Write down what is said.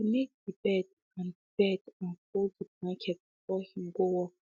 he make de bed and de bed and fold de blanket before him go work